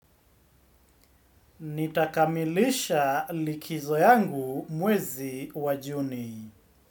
Nitakamilisha likizo yangu mwezi wa Juni.